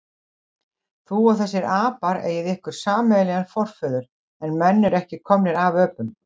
Þú og þessir apar eigið ykkur sameiginlegan forföður, en menn eru ekki komnir af öpum.